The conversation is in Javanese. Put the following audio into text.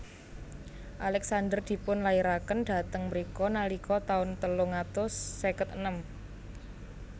Alexander dipun lairaken dhateng mrika nalika taun telung atus seket enem